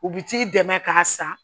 U bi t'i dɛmɛ k'a san